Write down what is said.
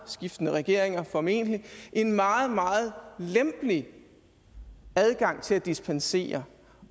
skiftende regeringer formentlig en meget meget lempelig adgang til at dispensere